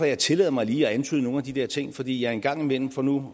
jeg tillader mig lige at antyde nogle af de der ting fordi jeg en gang imellem for nu